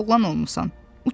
Böyük oğlan olmusan.